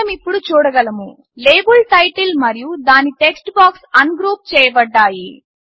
మనమిప్పుడు చూడగలము label title మరియు దాని టెక్స్ట్ బాక్స్ అన్గ్రూప్ చేయబడ్డాయి